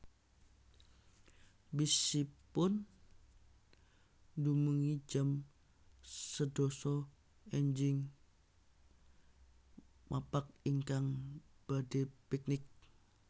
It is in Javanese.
Bis ipun dumugi jam sedasa enjing mapak ingkang badhe piknik